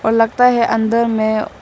और लगता है अंदर में--